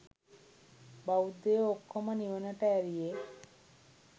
බෞද්ධයෝ ඔක්කොම නිවනට ඇරියේ.